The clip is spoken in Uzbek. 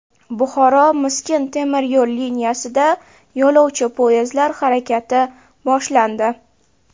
Buxoro Miskin temir yo‘l liniyasida yo‘lovchi poyezdlar harakati boshlandi.